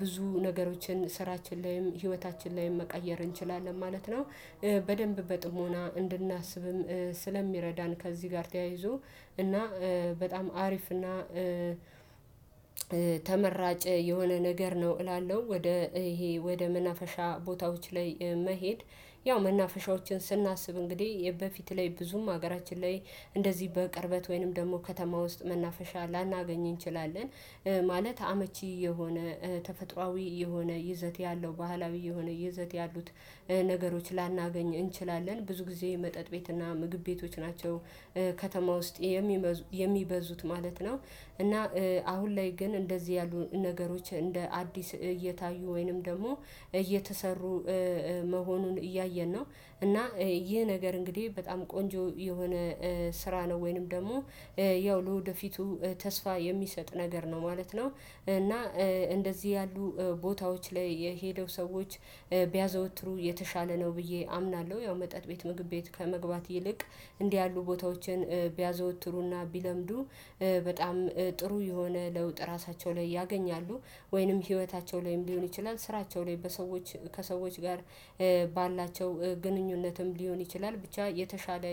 ብዙ ነገሮችን ስራችን ላይም ህይወታችን ላይም መቀየር እንችላለን ማለት ነው። በደንብ በጥሞና እንድናስብም ስለሚረዳን ከዚህ ጋር ተያይዞ እና በጣም አሪፍ እና ተመራጭ የሆነ ነገር ነው እላለሁ። ወደ ይሄ ወደ መናፈሻ ቦታዎች ላይ መሄድ ያው መናፈሻዎችን ስናስብ እንግዲህ በፊት ላይ ብዙም ሀገራችን ላይ እንደዚህ በቅርበት ወይንም ደግሞ ከተማ ውስጥ መናፈሻ ላናገኝ እንችላለን። ማለት አመቺ የሆነ ተፈጥሮአዊ የሆነ ይዘት ያለው ባህላዊ የሆነ ይዘት ያሉት ነገሮች ላናገኝ እንችላለን ብዙ ጊዜ መጠጥ ቤትና ምግብ ቤቶች ናቸው። ከተማ ውስጥ የሚበዙት ማለት ነው። እና አሁን ላይ ግን እንደዚህ ያሉ ነገሮች እንደ አዲስ እየታዩ ወይንም ደግሞ እየተሰሩ መሆኑን እያየን ነው። እና ይህ ነገር እንግዲህ በጣም ቆንጆ የሆነ ስራ ነው ወይንም ደግሞ ያው ለወደፊቱ ተስፋ የሚሰጥ ነገር ነው ማለት ነው። እና እንደዚህ ያሉ ቦታዎች ላይ የሄደው ሰዎች ቢያዘወትሩ የተሻለ ነው ብዬ አምናለሁ። ያው መጠጥ ቤት ምግብ ቤት ከመግባት ይልቅ እንዲህ ያሉ ቦታዎችን ቢያዘወትሩና ቢለምዱ በጣም ጥሩ የሆነ ለውጥ ራሳቸው ላይ ያገኛሉ። ወይንም ህይወታቸው ላይም ሊሆን ይችላል ስራቸው ላይ በሰዎች ከሰዎች ጋር ባላቸው ግንኙነትም ሊሆን ይችላል ብቻ የተሻለ